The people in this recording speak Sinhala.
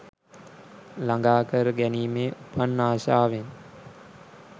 ළඟාකර ගැනීමේ, උපන් ආශාවෙන්